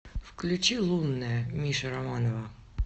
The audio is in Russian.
включи лунная миша романова